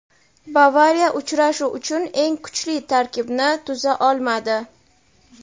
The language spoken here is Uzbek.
"Bavariya" uchrashuv uchun eng kuchli tarkibni tuza olmadi.